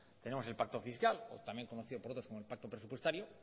tenemos el pacto fiscal también conocido por otros como el pacto presupuestario